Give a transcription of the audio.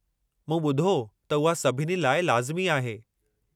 मूं ॿुधो त उहा सभिनी लाइ लाज़िमी आहे।